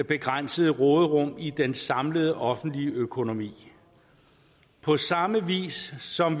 begrænsede råderum i den samlede offentlige økonomi på samme vis som